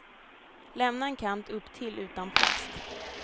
Lämna en kant upptill utan plast.